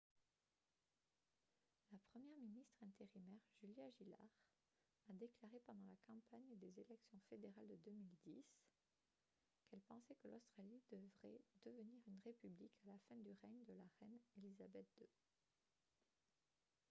la première ministre intérimaire julia gillard a déclaré pendant la campagne des élections fédérales de 2010 qu'elle pensait que l'australie devrait devenir une république à la fin du règne de la reine elizabeth ii